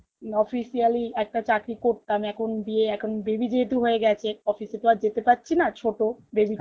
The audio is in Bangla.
officially একটা চাকরি করতাম এখন বিয়ে এখন baby যেহেতু হয়ে গেছে office এ তো আর যেতে পারছি না ছোটো বেবি